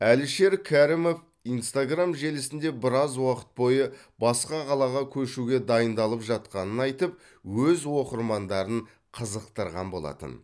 әлішер кәрімов инстаграм желісінде біраз уақыт бойы басқа қалаға көшуге дайындалып жатқанын айтып өз оқырмандарын қызықтырған болатын